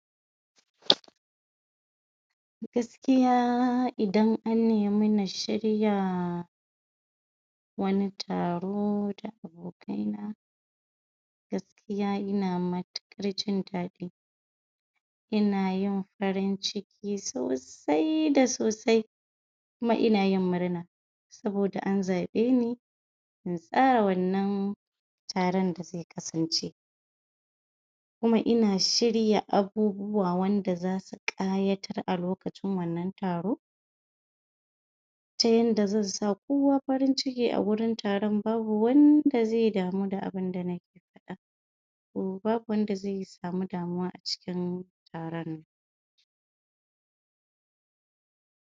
Gaskiya idan an nemu na shirya wani taro da abokaina gaskiya ina matuƙar jin daɗi inayin farinciki so sai da sosai kuma inayin murna saboda an zaɓeni in tsaya wannan taron da ze kasance kuma ina shirya abubuwa yanda zasu ƙayatar a lokacin wannan taro tayanda zansa kowa farin ciki agurin taron babu wanda ze damu da abinda na babu wanda ze samu damuwa acikin taronnan.